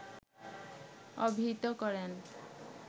অভিহিত করেন